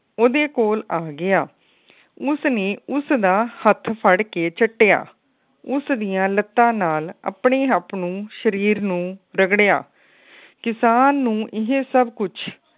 ਉਹਦੇ ਕੋਲ ਆ ਗਿਆ। ਉਸ ਨੇ ਉਸ ਦਾ ਹੱਥ ਫੜ ਕੇ ਚੱਟਿਆ। ਉਸ ਦੀਆ ਲੱਤਾਂ ਨਾਲ ਆਪਣੇ ਹੱਥ ਨੂੰ ਸ਼ਰੀਰ ਨੂੰ ਰਗੜਿਆ। ਕਿਸਾਨ ਨੂੰ ਇਹ ਸਬ ਕੁੱਜ